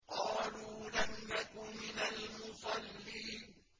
قَالُوا لَمْ نَكُ مِنَ الْمُصَلِّينَ